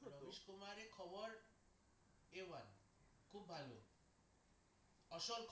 আসল খবর দেওয়া খুব ভালো আসল